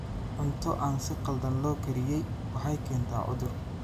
Cunto aan si khaldan loo kariyey waxay keentaa cudur.